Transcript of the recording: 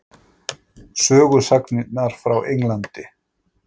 Sögusagnirnar frá Englandi?